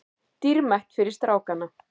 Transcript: Dýrmætt fyrir strákana